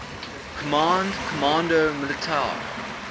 command comando militar